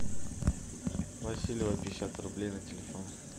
васильева пятьдесят рублей на телефон